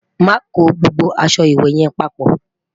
má kò gbogbo aṣọ ìwé yen paapo